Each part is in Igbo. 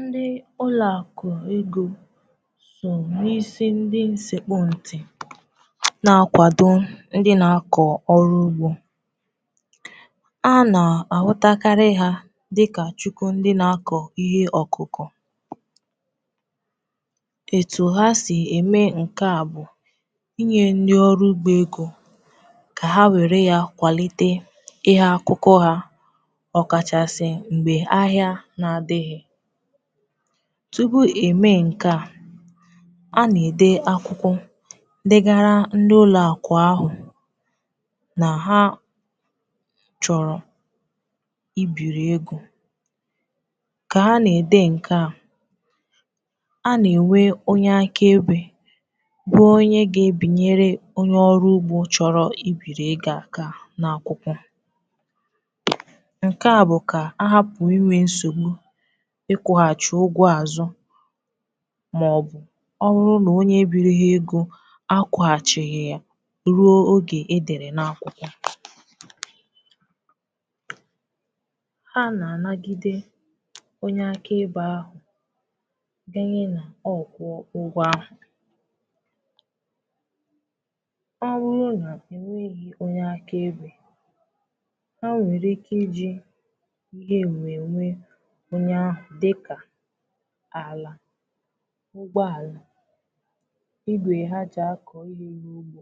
Ndị ụlọ akụ egọ dụrụ isi ndị nsekpù ntị na-akwado ndị na-akọ ọrụ ugbo. A na-ahụtakarị ha dị ka Chukwu ndị na-akọ ihe ọkụkọ. Etu ha si eme nke a bụ inye ndị ọrụ ugbo egọ ka ha were ya kwalite ihe ha na-akọ, ọkachasị tupu eme nke a na-ede akwụkwọ digara ndị ụlọ akụ ahụ na ha chọrọ ibiri egọ. A na-enwe onye àkebe bụ onye ga-ebinye na onye ọrụ ugbo chọrọ ibiri egọ. A ka na-ede n’akwụkwọ ikwughachi ụgwọ azụ, ma ọ bụ ọ bụrụ na onye biri ha egọ akwụghachighị ya ruo oge e dere na akwụkwọ. Ha na-anagide onye aka ibe ahụ denyere na ọ kwụọ ụgwọ ahụ. Onye ahụ, dịka ala, ụgbọ ala, igwe ha ji akọ ihe, ihe iri ugbo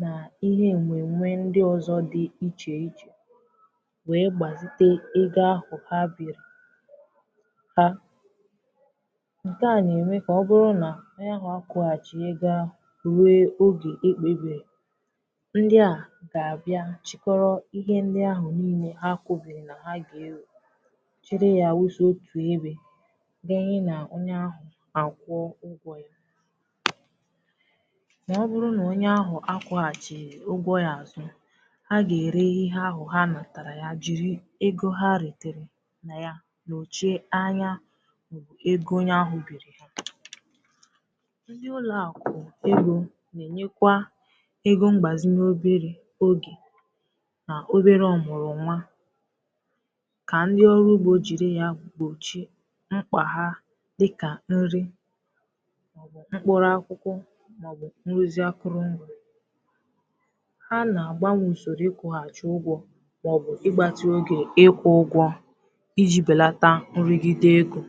na ihe mmemme ndị ọzọ dị iche iche, wee gbasie egọ ahụ ha biri. Nke a na-eme ka ọ bụrụ na ọ bụrụ na ha akwụghachighị egọ ahụ ruo oge ekpebiri, ndị a ga-abịa chịkọrọ ihe ndị ahụ niile ha kwubiri na ha ga-eji dinye na onye ahụ kwụọ ụgwọ ya. Na ọ bụrụ na onye ahụ akwụghachighị ụgwọ ya azụ, ha ga-ere ihe ahụ ha natara, jiri egọ ha retere, na ya n’oche anya egọ onye ahụ biri. Ndị ụlọ akụ egọ na-enyekwa egọ mgbazị n’ọbụ obere oge na obere ọmụrụ ọnwa. Mkpà ha dịka nri, mkpụrụ akwụkwọ, maọbụ nruzị akụrụ mgbe ha na-agbanye, soro ịkụghọcha ụgwọ maọbụ igbatu egọ ịkwụ ụgwọ iji belata nri gide egọ.